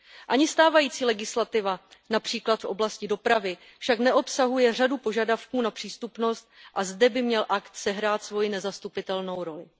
Ani stávající legislativa, například v oblasti dopravy, však neobsahuje řadu požadavků na přístupnost a zde by měl akt sehrát svoji nezastupitelnost roli.